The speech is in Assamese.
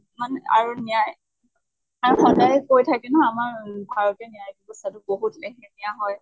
আৰু ন্য়ায় কৈ থাকে ন আমাৰ ভাৰতীয় ন্য়ায়িক ব্য়ৱস্থাটো বহুত লেহেমিয়া হয়